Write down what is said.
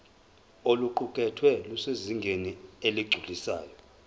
oluqukethwe lusezingeni eligculisayo